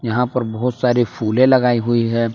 यहां पर बहुत सारी फूलें लगाई हुई हैं।